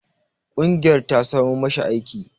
Ƙungiyar ta samo ma shi aiki.